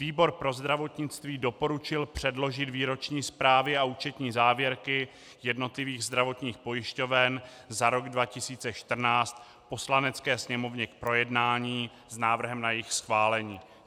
Výbor pro zdravotnictví doporučil předložit výroční zprávy a účetní závěrky jednotlivých zdravotních pojišťoven za rok 2014 Poslanecké sněmovně k projednání s návrhem na jejich schválení.